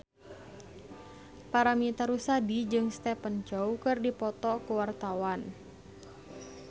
Paramitha Rusady jeung Stephen Chow keur dipoto ku wartawan